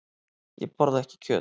Ég borða ekki kjöt.